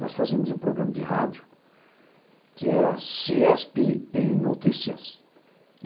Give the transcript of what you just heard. Nós fazíamos um programa de rádio que era CIESP em notícias.